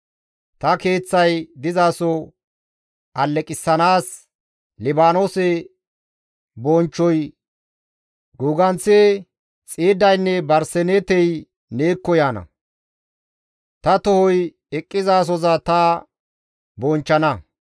Ta Keeththay dizaso alleqissanaas, Libaanoose bonchchoy guuganththi, xiiddaynne barseneetey neekko yaana; ta tohoy eqqizasoza ta bonchchana.